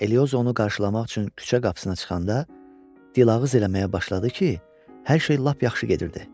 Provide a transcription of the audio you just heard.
Eliozo onu qarşılamaq üçün küçə qapısına çıxanda dılağız eləməyə başladı ki, hər şey lap yaxşı gedirdi.